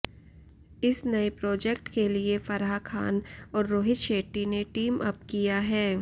इस नए प्रोजेक्ट के लिए फराह खान और रोहित शेट्टी ने टीमअप किया है